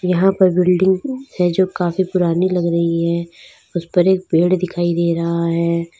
यहां पर बिल्डिंग है जो काफी पुरानी लग रही है उसे पर एक पेड़ दिखाई दे रहा है।